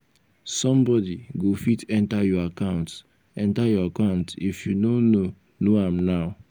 somebody go fit enter your account enter your account if you no know know am now.